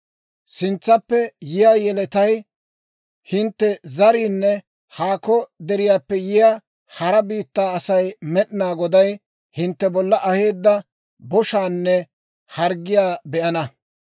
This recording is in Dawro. «Sintsappe yiyaa yeletay, hintte zariinne haako deriyaappe yiyaa hara biittaa Asay Med'inaa Goday hintte bolla aheedda boshaanne harggiyaa be'ana.